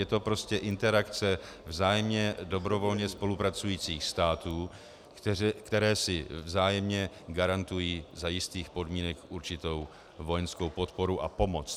Je to prostě interakce vzájemně dobrovolně spolupracujících států, které si vzájemně garantují za jistých podmínek určitou vojenskou podporu a pomoc.